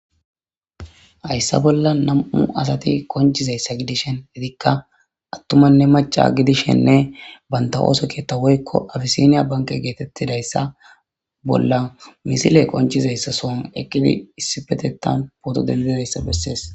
Hayssa bola nam'u asati konc'izaysa gidishin etika atumanne maca gidishenne banta oso ketha woyko abisiniya banke getetidaysa bola misile qonc'izaysa son eqidi issipetetan poto dendidayssa beses.